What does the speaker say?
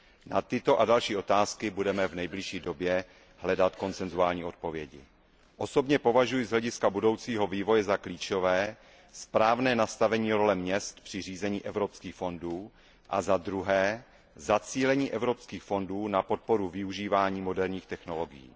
Na tyto a další otázky budeme v nejbližší době hledat konsensuální odpovědi. Osobně považuji z hlediska budoucího vývoje za klíčové zaprvé správné nastavení role měst při řízení evropských fondů a zadruhé zacílení evropských fondů na podporu využívání moderních technologií.